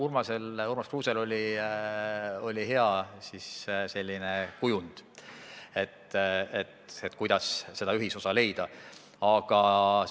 Ma olen nõus, Urmas Kruusel oli hea kujund, kuidas seda ühisosa leida.